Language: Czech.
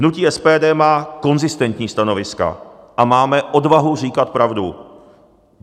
Hnutí SPD má konzistentní stanoviska a máme odvahu říkat pravdu.